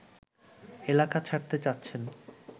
এলাকা ছাড়তে চাচ্ছেন